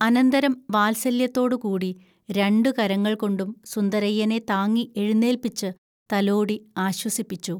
അനന്തരം വാൽസല്യത്തോടുകൂടി രണ്ടു കരങ്ങൾകൊണ്ടും സുന്ദരയ്യനെ താങ്ങി എഴുന്നേൽപിച്ചു തലോടി ആശ്വസിപ്പിച്ചു